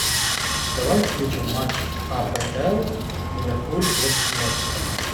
давай включим матч апл ливерпуль против лестера